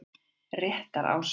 Réttarási